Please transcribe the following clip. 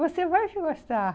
Você vai sim gostar.